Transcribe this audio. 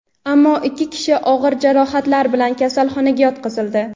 ammo ikki kishi og‘ir jarohatlar bilan kasalxonaga yotqizildi.